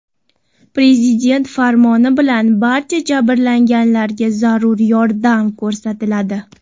Prezident farmoni bilan barcha jabrlanganlarga zarur yordam ko‘rsatiladi.